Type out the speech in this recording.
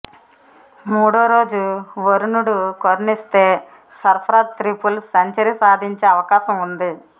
మూడో రోజు వరుణుడు కరుణిస్తే సర్పరాజ్ త్రిపుల్ సెంచరీ సాధించే అవకాశం ఉంది